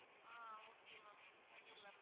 ஆஹ் okay ma'am பண்ணிரலாம் ma'am